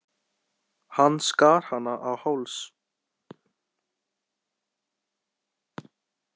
Hann skar hana á háls.